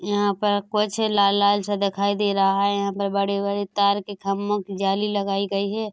यहाँ पर कुछ लाल - लाल सा दिखाई दे रहा है यहाँ पर बड़े-बड़े तार के खंभों की जाली लगाई गई है।